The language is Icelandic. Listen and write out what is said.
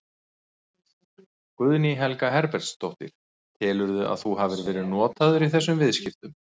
Guðný Helga Herbertsdóttir: Telurðu að þú hafi verið notaður í þessum viðskiptum?